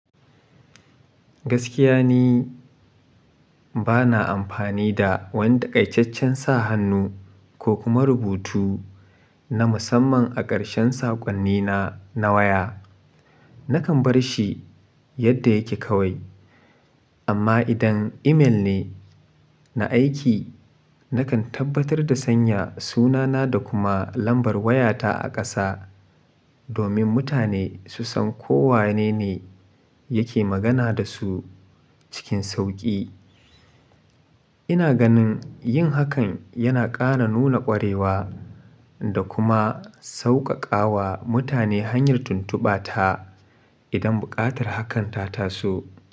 Gaskiya ne bana amfani da wanda takaitacen sa hannu ko kuma rubutu na musamman a ƙarshen saƙonnina na waya. Nakan bar shi yadda yake kawai. Amma idan email ne na aiki, nakan tabbatar da sanya sunana da kuma lambar wayata a ƙasa domin mutane su san ko wanene yake magana da su cikin sauƙi. Ina ganin yin hakan yana ƙara nuna ƙwarewa da kuma sauƙaƙawa mutane hanyar tuntuba ta idan buƙatar hakan ta tasu.